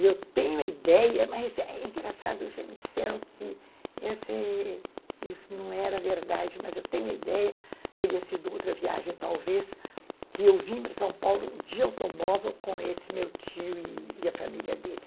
E eu tenho a ideia, mas é engraçado, já me disseram que isso não era verdade, mas eu tenho a ideia, teria sido outra viagem talvez, que eu vim para São Paulo de automóvel com esse meu tio e e a família dele.